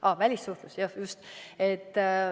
Aa, välissuhtlus, just.